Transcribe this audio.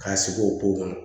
K'a sigi o ko ma